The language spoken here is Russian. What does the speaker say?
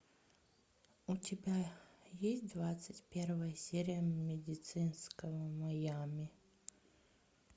у тебя есть двадцать первая серия медицинского майами